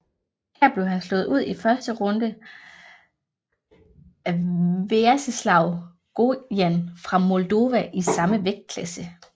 Her blev han slået ud i første runde af Veaceslav Gojan fra Moldova i samme vægtklasse